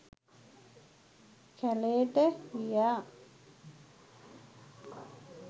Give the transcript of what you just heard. කැළේට ගියා.